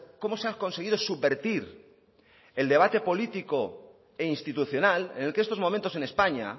como se ha conseguido subvertir el debate político e institucional en el que estos momentos en españa